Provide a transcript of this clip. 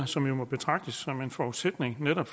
som jo må betragtes som en forudsætning for netop